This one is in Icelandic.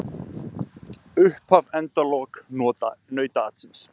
Upphaf endaloka nautaatsins